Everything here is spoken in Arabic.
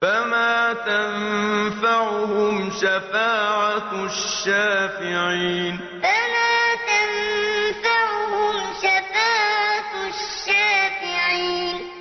فَمَا تَنفَعُهُمْ شَفَاعَةُ الشَّافِعِينَ فَمَا تَنفَعُهُمْ شَفَاعَةُ الشَّافِعِينَ